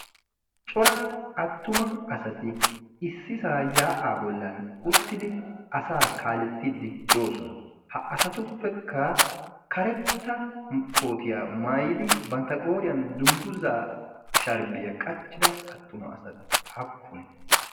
cora attuma asati issisaa yaa7aa bollan uttidi asaa kaalettiiddi do7osona. ha asatuppekka karetta kootiyaa maayidi bantta qooriyan dungguzaa sharibiyaa qachchida attuma asati appune?